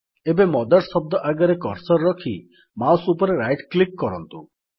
ଏବେ ମଦର୍ସ ଶବ୍ଦ ଆଗରେ କର୍ସର୍ ରଖି ମାଉସ୍ ଉପରେ ରାଇଟ୍ କ୍ଲିକ୍ କରନ୍ତୁ